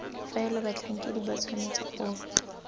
faela batlhankedi ba tshwanetse go